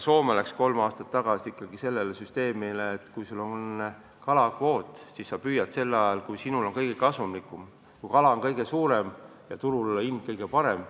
Soome läks kolm aastat tagasi üle sellisele süsteemile, et kui sul on kalapüügikvoot, siis sa püüad sel ajal, kui sulle on kõige kasumlikum: kui kala on kõige suurem ja turul hind kõige parem.